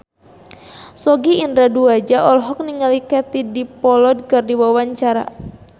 Sogi Indra Duaja olohok ningali Katie Dippold keur diwawancara